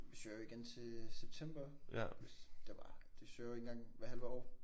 Vi søger jo igen til september hvis det var. De søger jo en gang hvert halve år